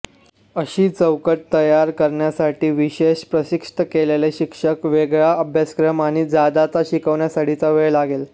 अशी चौकट तयार करण्यासाठी विशेष प्रशिक्षित केलेले शिक्षक वेगळा अभ्यासक्रम आणि जादाचा शिकण्यासाठीचा वेळ लागेल